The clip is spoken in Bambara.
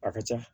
A ka ca